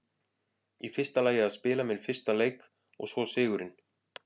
Í fyrsta lagi að spila minn fyrsta leik og svo sigurinn.